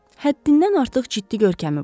Həddindən artıq ciddi görkəmi var.